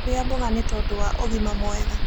Rĩa mmboga nĩtondũ wa ũgima mwega